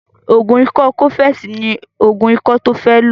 Ògùn ikọ́ cọ́fẹ̀sì ní ògùn ikọ́ tó fẹ́ lò